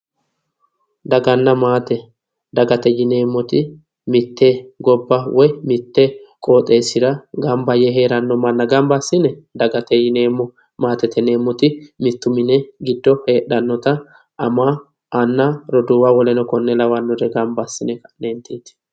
Daganna maate yineemmoti, mitte gobba woyi mitte qooxeessira gamba yee heeranno manna gamba assine dagate yineemmo. maatete yineemmoti mittu mini giddo heedhannota ama anna roduuwa woleno kuri lawannore gamba assine lendeeti.